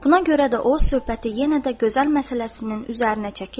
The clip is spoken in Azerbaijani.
Buna görə də o, söhbəti yenə də gözəl məsələsinin üzərinə çəkib dedi.